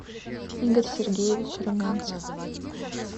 игорь сергеевич румянцев